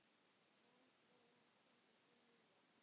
Magnús bróðir hans kenndi smíðar.